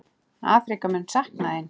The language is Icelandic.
Afríka mun sakna þín.